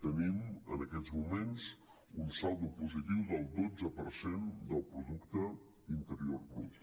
tenim en aquests moments un saldo positiu del dotze per cent del producte interior brut